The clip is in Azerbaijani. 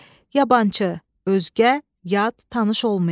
Yabançı, özgə, yad, tanış olmayan.